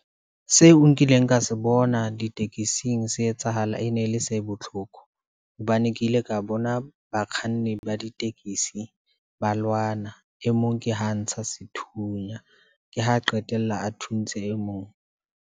Seo nkileng ka se bona ditekesing se etsahala e ne le se botlhoko, hobane ke ile ka bona bakganni ba ditekesi ba lwana. E mong ke ho ntsha sethunya, ke ho qetella a thuntse e mong.